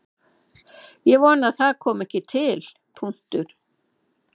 Ég vona að það komi ekki til.